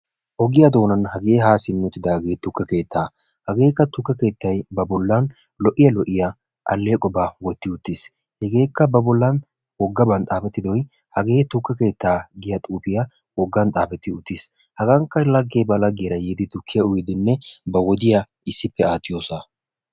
ogiyaa doonani haa simidi uttidage tukekeetta hagekka tuke keettay ba bollani lo"iya aleeqoba wotiisi hegekka hage tuke keetaa yagiya xuufiya ha sohoykka assati bantta lagetura yiidi tukiyaa uyidi pashki ekiyo sohuwaa.